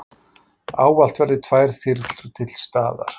Ávallt verði tvær þyrlur til staðar